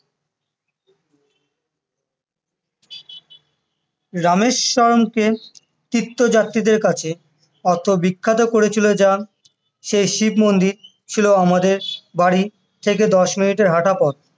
রামেস্বরমকে তীর্থযাত্রীদের আছে এতো বিখ্যাত করেছিল যা, সেই শিবমন্দির ছিল আমাদের বাড়ির থেকে দশ মিনিটের হাঁটা পথ